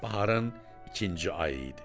Baharın ikinci ayı idi.